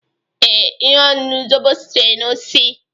Ee, ihe ọṅụṅụ zobo sitere na osisi